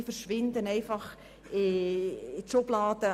Sie verschwinden in einer Schublade.